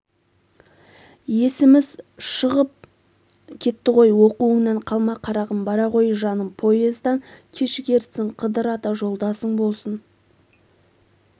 есіміз шығып кетті ғой оқуыңнан қалма қарағым бара ғой жаным поездан кешігерсің қыдыр ата жолдасың болсын